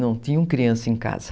Não tinham criança em casa.